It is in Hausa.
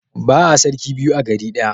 Ba'a sarki biyu a gari ɗaya.